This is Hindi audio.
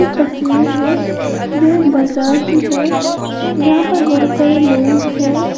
इक तस्वीर है जो एक बाजार की है जहां पर बहोत सारे लोग हैं।